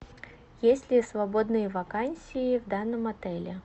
есть ли свободные вакансии в данном отеле